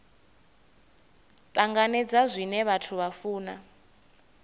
tanganedza zwine vhathu vha funa